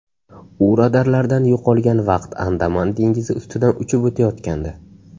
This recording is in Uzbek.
U radarlardan yo‘qolgan vaqt Andaman dengizi ustidan uchib o‘tayotgandi.